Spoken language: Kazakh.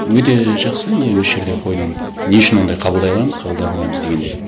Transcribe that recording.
өте жақсы не осы жерде қойдың не үшін ондай қабылдай аламыз қабылдай алмаймыз дегенде